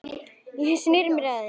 Ég sneri mér að henni.